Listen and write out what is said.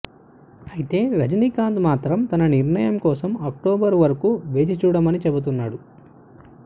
అయితే రజినీకాంత్ కాంత్ మాత్రం తన నిర్ణయం కోసం అక్టోబర్ వరకు వేచి చూడమని చెబుతున్నాడు